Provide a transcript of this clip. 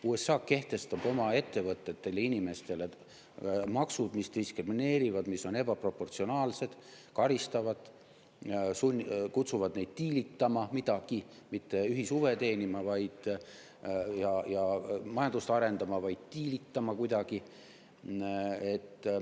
USA kehtestab oma ettevõtetele ja inimestele maksud, mis diskrimineerivad, mis on ebaproportsionaalsed, mis karistavad, kutsuvad neid diilitama, mitte ühishuve teenima ja majandust arendama, vaid diilitama kuidagi.